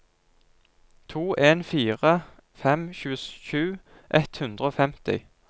to en fire fem tjuesju ett hundre og femti